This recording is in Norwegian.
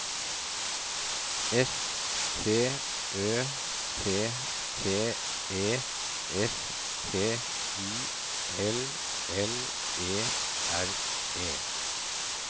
S T Ø T T E S P I L L E R E